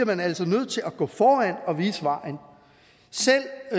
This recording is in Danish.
man altså nødt til at gå foran og vise vejen selv